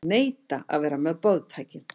Neita að vera með boðtækin